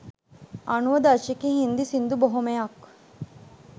අනූව දශකයේ හිංදි සිංදු බොහොමයක්